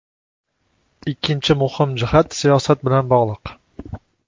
Ikkinchi muhim jihat siyosat bilan bog‘liq.